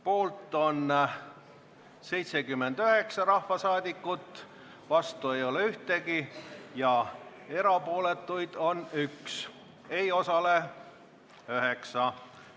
Poolt on 79 rahvasaadikut, vastu ei ole ühtegi ja erapooletuid on 1, hääletusel ei osalenud 9 rahvasaadikut.